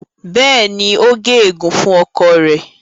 béèni o gé egun fún ọkọ rẹ.